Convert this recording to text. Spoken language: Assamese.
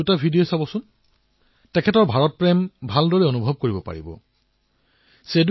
কৰোনাৰ এই কঠিন সময়ছোৱাত আমাৰ কৃষি ক্ষেত্ৰ আমাৰ কৃষক ইয়াৰ জীৱন্ত উদাহৰণ হিচাপে বিবেচিত হৈছে